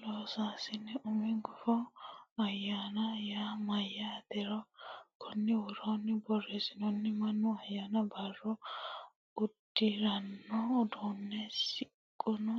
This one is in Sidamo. Loossinanni Umi gufo ayyaana yaa mayyaateronna konni woroonni borreessante mannu ayyaanu barra udi ranno uddano shiqqino